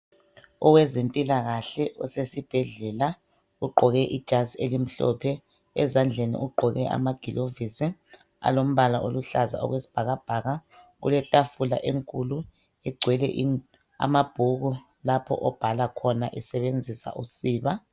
Owezempilakahle osesibhedlela ogqoke ijazi elimhlophe ezandleni ugqoke amagilovisi alombala oluhlaza okwesibhakabhaka kuletafula enkulu egcwele amabhuku lapho obhala khona esebenzisa usiba.